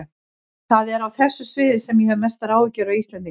Það er á þessu sviði sem ég hef mestar áhyggjur af Íslendingum.